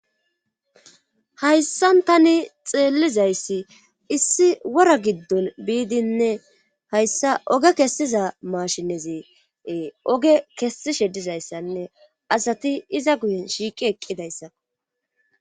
hayssan tani xeellizayssi issi wora giddon biidinne hayssa oge kessiza mashinezi oge kessishe dizayssanne asati iza guyen shiiqi eqqidayssako.